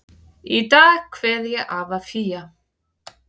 Í dag kveð ég afa Fía.